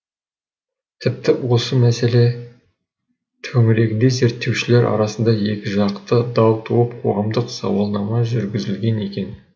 тіпті осы мәселе төңірегінде зерттеушілер арасында екіжақты дау туып қоғамдық сауалнама жүргізілген екен